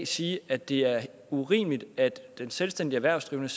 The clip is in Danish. sige at det er urimeligt at den selvstændige erhvervsdrivende